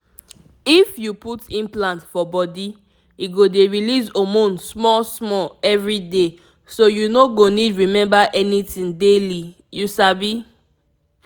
if you put implant for body e go dey release hormone small-small every day so you no go need remember anything daily — you sabi.